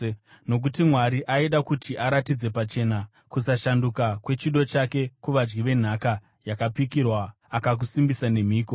Nokuti Mwari aida kuti aratidze pachena kusashanduka kwechido chake kuvadyi venhaka yakapikirwa, akakusimbisa nemhiko.